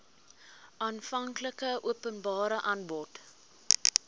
aanvanklike openbare aanbod